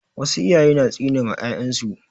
Wasu iyaye na tsine ma 'ya'yan su.